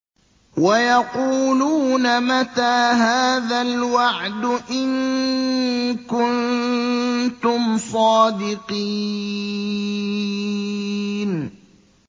وَيَقُولُونَ مَتَىٰ هَٰذَا الْوَعْدُ إِن كُنتُمْ صَادِقِينَ